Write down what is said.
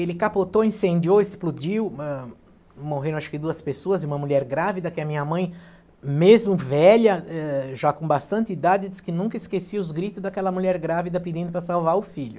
Ele capotou, incendiou, explodiu, ãh, morreram acho que duas pessoas e uma mulher grávida, que a minha mãe, mesmo velha, eh, já com bastante idade, disse que nunca esquecia os gritos daquela mulher grávida pedindo para salvar o filho.